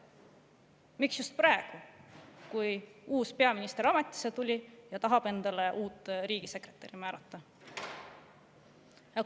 Miks just praegu, kui uus peaminister ametisse tuli ja tahab uut riigisekretäri määrata?